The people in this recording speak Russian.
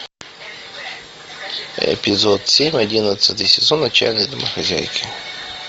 эпизод семь одиннадцатый сезон отчаянные домохозяйки